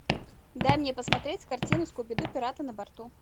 дай мне посмотреть картину скуби ду пираты на борту